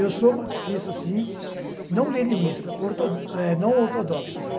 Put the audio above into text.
Eu sou marxista, sim, não leninista, orto, eh não ortodoxo, gente.